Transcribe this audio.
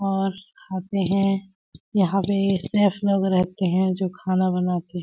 और खाते है यहाँ पे शेफ लोग रहते है जो खाना बनाते--